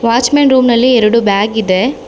Watch men ರೂಮ್ನಲ್ಲಿ ಎರಡು ಬ್ಯಾಗು ಇದೆ.